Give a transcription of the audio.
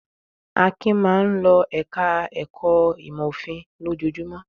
Akin máa ń lọ ẹ̀ka-ẹ̀kọ́ ìmọ̀-òfin lójoojúmọ́.